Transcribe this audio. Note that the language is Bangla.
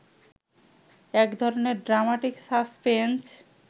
একধরনের ড্রামাটিক সাসপেন্স